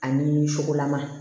Ani fukolama